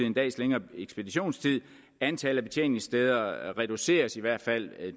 en dags længere ekspeditionstid antallet af betjeningssteder reduceres i hvert fald